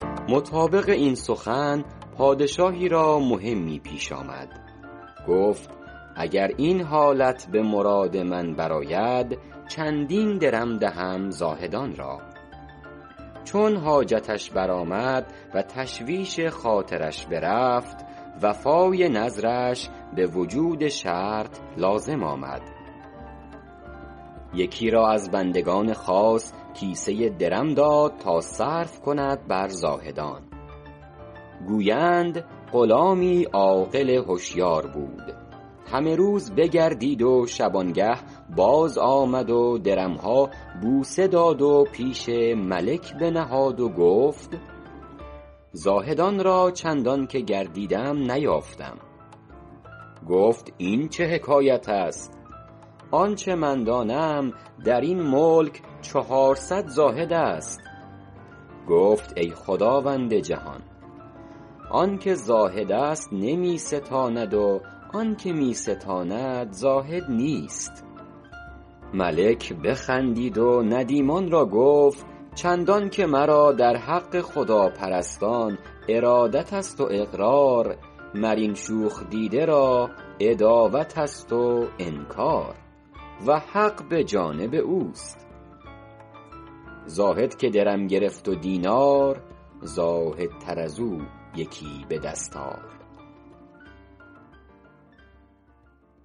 مطابق این سخن پادشاهی را مهمی پیش آمد گفت اگر این حالت به مراد من بر آید چندین درم دهم زاهدان را چون حاجتش برآمد و تشویش خاطرش برفت وفای نذرش به وجود شرط لازم آمد یکی را از بندگان خاص کیسه ای درم داد تا صرف کند بر زاهدان گویند غلامی عاقل هشیار بود همه روز بگردید و شبانگه باز آمد و درم ها بوسه داد و پیش ملک بنهاد و گفت زاهدان را چندان که گردیدم نیافتم گفت این چه حکایت است آنچه من دانم در این ملک چهارصد زاهد است گفت ای خداوند جهان آن که زاهد است نمی ستاند و آن که می ستاند زاهد نیست ملک بخندید و ندیمان را گفت چندان که مرا در حق خداپرستان ارادت است و اقرار مر این شوخ دیده را عداوت است و انکار و حق به جانب اوست زاهد که درم گرفت و دینار زاهدتر از او یکی به دست آر